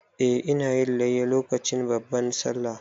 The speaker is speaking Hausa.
Eh, ina yin layya lokacin babban Sallah.